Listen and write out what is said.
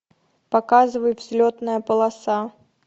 показывай взлетная полоса